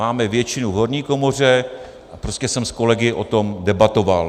Máme většinu v horní komoře a prostě jsem s kolegy o tom debatoval.